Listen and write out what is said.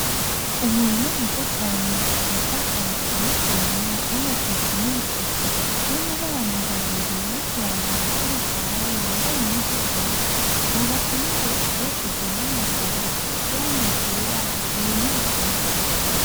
Umurima mwiza cane utotahaye, uteye igomwe w'amateke n'ibikoti, harimwo n'abantu babiri bariko bararaba ko bigwaye, bambaye impuzu zera. Hubatse n'inzu hakoreshejwe n'amabuye, isize irangi ryera, hateye n'ibitoke.